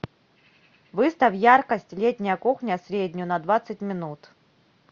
выставь яркость летняя кухня среднюю на двадцать минут